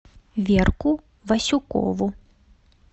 верку васюкову